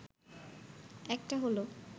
একটা হলো